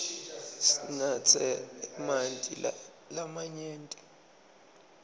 sinatse emanti lamanyenti